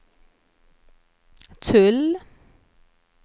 tull